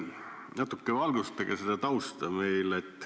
Natuke valgustage seda tausta veel.